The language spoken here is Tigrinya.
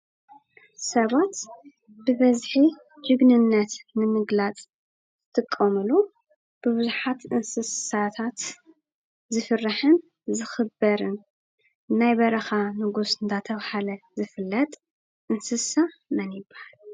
ሰባት ብበዝሒ ጅግንነት ንምግላፅ ዝጥቀምሉ ብብዙሓት እንስሳታት ዝፍራሕን ዝኽበርን ናይ በረኻ ንጉስ እናተባህለ ዝፍለጥ እንስሳ መን ይበሃል?